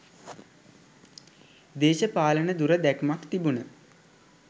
දේශපාලන දුර දැක්මක් තිබුන.